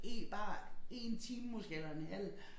Bare én time måske eller en halv